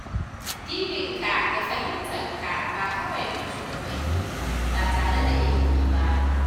Yi addininka da fahimta ba kawai bin shugabanni ba tare da ilimi ba.